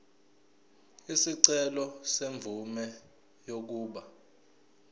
isicelo semvume yokuba